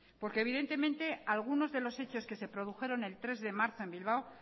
evidentemente algunos de los hechos que se produjeron el tres de marzo en bilbao